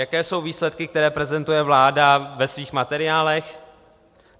Jaké jsou výsledky, které prezentuje vláda ve svých materiálech?